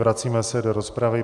Vracíme se do rozpravy.